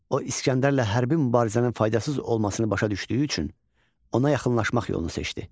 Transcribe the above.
O İsgəndərlə hərbi mübarizənin faydasız olmasını başa düşdüyü üçün ona yaxınlaşmaq yolunu seçdi.